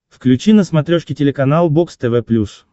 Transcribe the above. включи на смотрешке телеканал бокс тв плюс